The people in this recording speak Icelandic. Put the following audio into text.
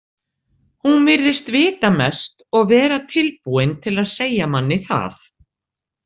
Hún virðist vita mest og vera tilbúin til að segja manni það.